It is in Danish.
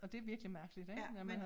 Og det virkelig mærkeligt ik når man